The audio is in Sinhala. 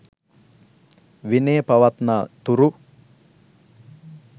විනය පවත්නා තුරු